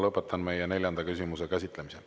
Lõpetan meie neljanda küsimuse käsitlemise.